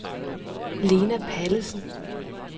Lena Pallesen